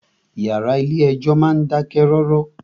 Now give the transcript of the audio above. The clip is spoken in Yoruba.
Ìyàrá ilé ẹjọ́ náà dákẹ́ rọ́rọ́.